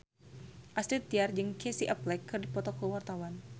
Astrid Tiar jeung Casey Affleck keur dipoto ku wartawan